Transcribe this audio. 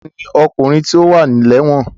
Ta ni ọkùnrin tí ó wà lẹ́wọ̀n?